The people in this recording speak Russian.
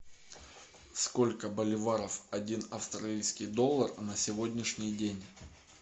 сколько боливаров один австралийский доллар на сегодняшний день